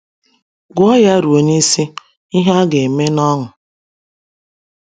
Gụọ ya ruo n’isi, ihe a ga-eme n’ọṅụ.